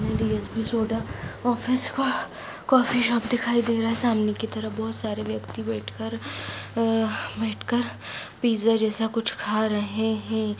ये D S P soda office का coffee shop दिखाई दे रहा है सामने की बहुत सारे व्यक्ति बैठकर आ बैठकर पिज़्ज़ा जैसा कुछ खा रहे हैं।